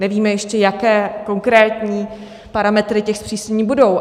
Nevíme, jaké ještě konkrétní parametry těch zpřísnění budou.